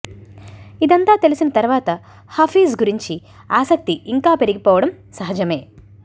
ఇదంతా తెలిసిన తర్వాత హఫీజ్ గురించి ఆసక్తి ఇంకా పెరిగిపోవడం సహజమే